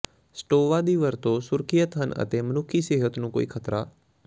ਸਟੋਵਾ ਦੀ ਵਰਤੋ ਸੁਰੱਖਿਅਤ ਹਨ ਅਤੇ ਮਨੁੱਖੀ ਸਿਹਤ ਨੂੰ ਕੋਈ ਖਤਰਾ